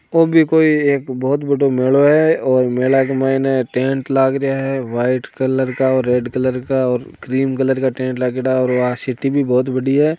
ओबी कोई एक बोहत बडो मेलो है और मेला के मायने टेंट लागरिया है व्हाइट कलर का और रेड कलर का और क्रीम कलर का टेंट लागेडा और वा शिटी भी बोहोत बडी है।